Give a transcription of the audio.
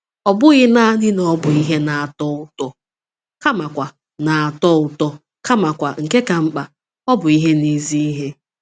Ọ bụghị nanị na ọ bụ ihe na-atọ ụtọ kamakwa, na-atọ ụtọ kamakwa, nke ka mkpa, ọ bụ ihe na-ezi ihe.